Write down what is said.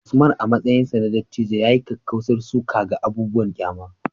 Usman, a matsayinsa na dattijo, ya yi kakkausar suka ga abubuwan ƙyama